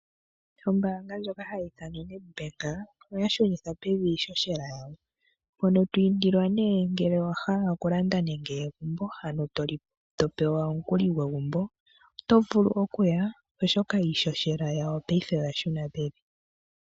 Ombanga ndyoka hayi ithanwa oNetbank oya shunitha pevi iishoshela yadho mpono to indilwa ngele owahala okulanda nenge egumbo ano to pewa omukuli gwegumbo oto vulu okuya oshoka iishoshela yawo paife oya shuna pevi.